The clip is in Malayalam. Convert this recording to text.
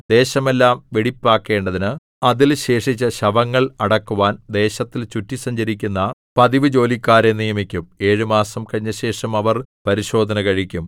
ദേശമെല്ലാം വെടിപ്പാക്കേണ്ടതിന് അതിൽ ശേഷിച്ച ശവങ്ങൾ അടക്കുവാൻ ദേശത്തിൽ ചുറ്റി സഞ്ചരിക്കുന്ന പതിവുജോലിക്കാരെ നിയമിക്കും ഏഴു മാസം കഴിഞ്ഞശേഷം അവർ പരിശോധന കഴിക്കും